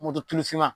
Moto tufinma